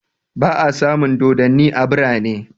Ba'a samun dodanni a birane